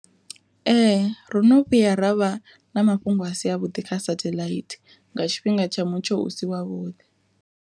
Ee ro no vhuya ravha na mafhungo a si a vhuḓi kha satheḽaithi nga tshifhinga tsha mutsho u si wavhuḓi.